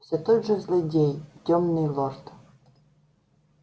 все тот же злодей тёмный лорд